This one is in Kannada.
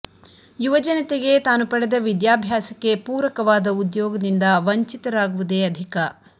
ಯುವ ಜನತೆಗೆ ತಾನು ಪಡೆದ ವಿದ್ಯಾಭ್ಯಾಸಕ್ಕೆ ಪೂರಕವಾದ ಉದ್ಯೋಗದಿಂದ ವಂಚಿತರಾಗಿವುದೇ ಅಧಿಕ